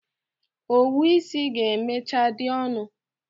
Owu isi ga-emechaa dị ọnụ.